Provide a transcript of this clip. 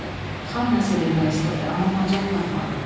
Xan nəsə demək istədi, amma macal tapmadı.